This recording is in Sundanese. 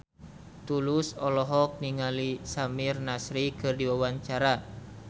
Tulus olohok ningali Samir Nasri keur diwawancara